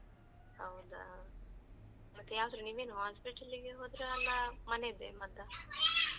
ಹೌದಾ? ಮತ್ತೇ ಯಾವ್ದ್ರೇ ನೀವೇನ್ hospital ಗೆ ಹೋದ್ರಾ? ಅಲ್ಲಾ ಮನೆದ್ದೆ ಮದ್ದಾ?